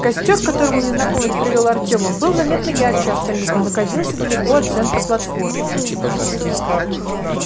костёр к которому незнакомец привёл артема был заметно ярче остальных и находился далеко от центра платформы